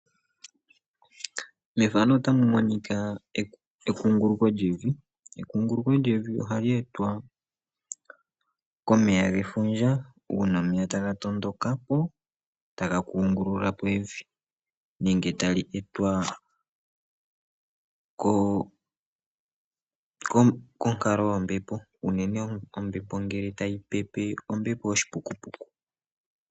Methano otamu monika ekunguluko lyevi, ekunguluko lyevi ohali etwa komeya gefundja, uuna omeya taga tondoka, go taga kungulula po evi nenge tali etwa kookonkalo yo mombepo, unene ombepo ngele tayi pepe ombepo oshipukupuku.